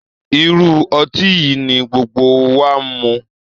Irú ọtí yìí ni gbogbo wa mu